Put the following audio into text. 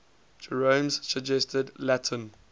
jerome's suggested latin